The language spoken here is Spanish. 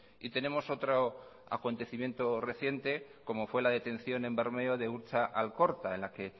y tenemos otro acontecimiento reciente como fue la detención en bermeo de urtza alkorta en la que